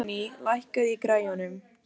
Voney, lækkaðu í græjunum.